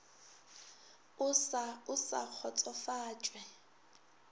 o sa o sa kgotsofatšwe